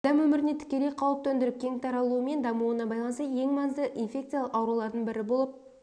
адам өміріне тікелей қауіп төндіріп кең таралуымен дамуына байланысты ең маңызды инфекциялық аурулардың бірі болып